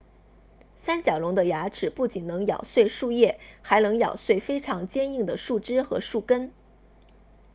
三角龙的牙齿不仅能咬碎树叶还能咬碎非常坚硬的树枝和树根